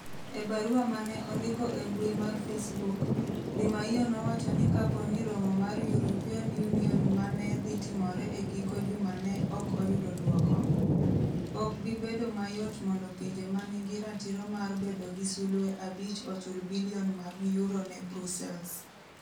E barua ma ne ondiko e mbui mar Facebuk, Di Maio nowacho ni kapo ni romo mar European Union ma ne dhi timore e giko juma ne ok oyudo dwoko, ok bi bedo mayot mondo pinje ma nigi ratiro mar bedo gi sulwe abich ochul bilion mag euro ne Brussels.